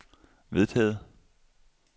vedtaget